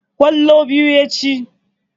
Ƙwallo biyu ya ci.